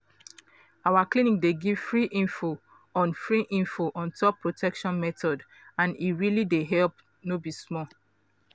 our clinic dey give free info on free info on top protection methods and e really dey helpful no be small.